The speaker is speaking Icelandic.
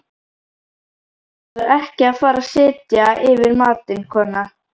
Ætlarðu ekki að fara að setja yfir matinn, kona?